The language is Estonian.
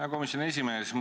Hea komisjoni esimees!